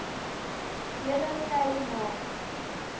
hele khai ma